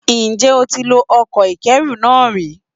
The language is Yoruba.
Ǹjjẹ́ o ti lo ọkọ̀ ìkẹ́ru náà ri?